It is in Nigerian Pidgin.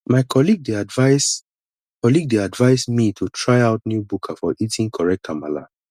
my colleague dey advise colleague dey advise me to try out new buka for eating correct amala